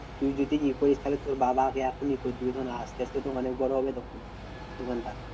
তুই যদি ই করিস তাহলে তোর বাবা আগে এখনই আসতে আসতে তো অনেক বড় হবে তখন ওখানটা।